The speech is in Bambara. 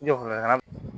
N jɔla